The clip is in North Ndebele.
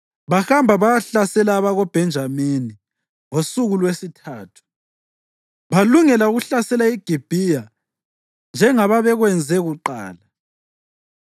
Bahamba bayahlasela abakoBhenjamini ngosuku lwesithathu, balungela ukuhlasela iGibhiya njengebabekwenze kuqala.